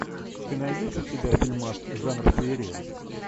ты найдешь у себя фильмас жанр феерия